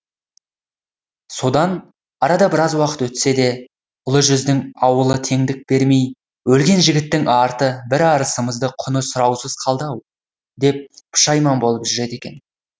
содан арада біраз уақыт өтсе де ұлы жүздің ауылы теңдік бермей өлген жігіттің арты бір арысымыздың құны сұраусыз қалды ау деп пұшайман болып жүреді екен